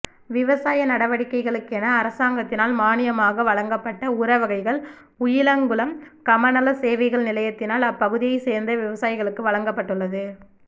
விவசாய நடவடிக்கைகளுக்கென அரசாங்கத்தினால் மானியமாக வழங்கப்பட்ட உர வகைகள் உயிலங்குளம் கமநல சேவைகள் நிலையத்தினால் அப்பகுதியைச் சேர்நத விவசாயிகளுக்கு வழங்கப்பட்டுள்ளது